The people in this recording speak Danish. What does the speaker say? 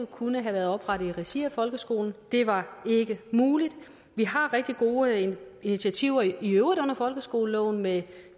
kunne have været oprettet i regi af folkeskolen det var ikke muligt vi har rigtig gode initiativer i øvrigt under folkeskoleloven med